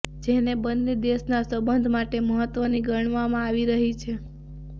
જેને બન્ને દેશના સંબધ માટે મહત્વની ગણવામાં આવી રહી છે